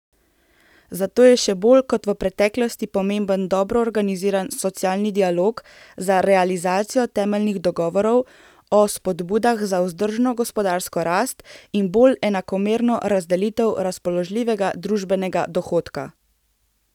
Zato je še bolj kot v preteklosti pomemben dobro organiziran socialni dialog za realizacijo temeljnih dogovorov o spodbudah za vzdržno gospodarsko rast in bolj enakomerno razdelitev razpoložljivega družbenega dohodka.